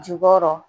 Jukɔrɔ